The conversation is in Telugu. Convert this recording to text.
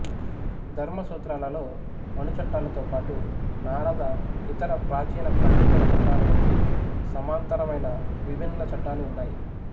ధర్మసూత్రాలలో మను చట్టాలతో పాటు నారద ఇతర ప్రాచీన పండితుల చట్టాలు వంటి సమాంతరమైన విభిన్న చట్టాలు ఉన్నాయి